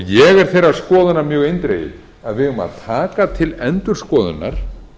ég er þeirrar skoðunar mjög eindregið að við eigum að taka til endurskoðunar